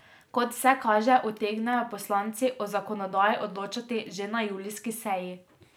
Kot vse kaže, utegnejo poslanci o zakonodaji odločati že na julijski seji.